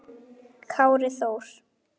Kári Þór.